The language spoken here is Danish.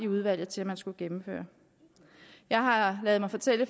udvalget til at man skulle gennemføre jeg har ladet mig fortælle